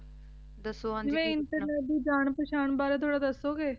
ਦਸੋ ਹਾਂਜੀ ਕੀ ਪੋਚਨਾ ਜਾਨ internet ਬਾਰੇ ਥੋਰਾ ਦਸੋ ਗੇ